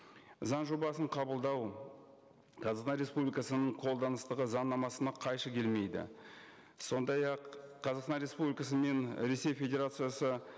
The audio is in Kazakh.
заң жобасын қабылдау қазақстан республикасының қолданыстағы заңнамасына қайшы келмейді сондай ақ қазақстан республикасы мен ресей федерациясы